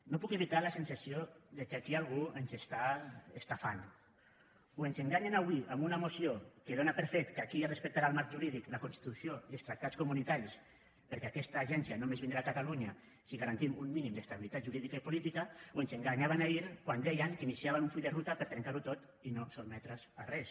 no puc evitar la sensació que aquí algú ens està estafant o ens enganyen avui amb una moció que dóna per fet que aquí es respectaran el marc jurídic la constitució i els tractats comunitaris perquè aquesta agència només vindrà a catalunya si garantim un mínim d’estabilitat jurídica i política o ens enganyaven ahir quan deien que iniciaven un full de ruta per a trencar ho tot i no sotmetre’s a res